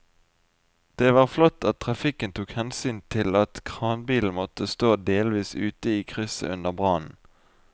Det var flott at trafikken tok hensyn til at kranbilen måtte stå delvis ute i krysset under brannen.